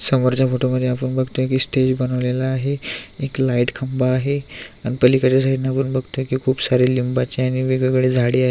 समोरच्या फोटोमध्ये आपण बगतोय की स्टेज बनवलेल आहे एक लाइट खंबा आहे आणि पालिकडच्या साइडन आपण बगतोय की खूप सारे लिंबाची आणि वेगवेगळी झाडी आहे.